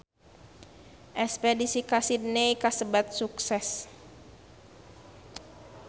Espedisi ka Sydney kasebat sukses